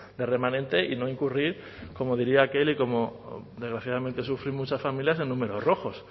de remanente y no incurrir como diría aquel y cómo desgraciadamente sufren muchas familias en números rojos